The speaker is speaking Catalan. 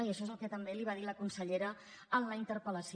i això és el que també li va dir la consellera en la interpel·lació